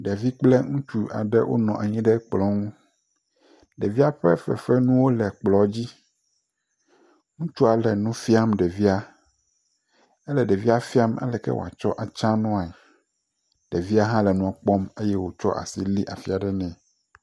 Ɖevi kple ŋutsu aɖe wonɔ anyi ɖe ŋu, ɖevia ƒe fefenuwo le kplɔ dzi, ŋutsua le nua fiam ɖevia, ele ɖevia fiam aleke wòatsɔ adza nuae, ɖevia hã le nuɔ kpɔm eye wòtsɔ asi li afi aɖe nɛ.